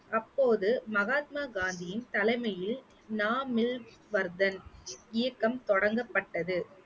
அப்போது மகாத்மா காந்தியின் தலைமையில் இயக்கம் தொடங்கப்பட்டது